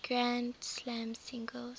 grand slam singles